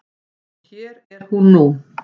Og hér er hún nú.